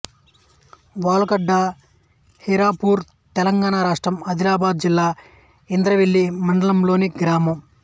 వాల్గండ హీరాపూర్ తెలంగాణ రాష్ట్రం ఆదిలాబాద్ జిల్లా ఇంద్రవెల్లి మండలంలోని గ్రామం